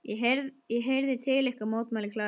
Ég heyrði til ykkar, mótmælir Klara.